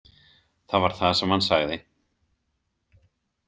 Það var það sem hann sagði.